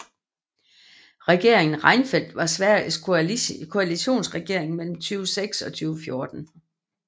Regeringen Reinfeldt var Sveriges koalitionsregering mellem 2006 og 2014